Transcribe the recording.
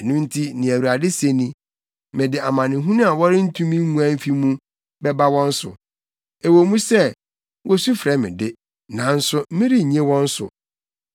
Ɛno nti nea Awurade se ni: ‘Mede amanehunu a wɔrentumi nguan mfi mu bɛba wɔn so. Ɛwɔ mu sɛ, wosu frɛ me de, nanso merennye wɔn so.